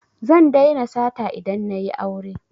Zan daina sata idan na yi aure